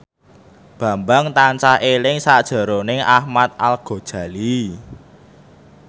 Bambang tansah eling sakjroning Ahmad Al Ghazali